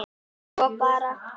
Svo bara.